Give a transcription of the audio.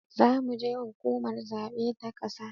Zamu ji hukumar zabe ta ƙasa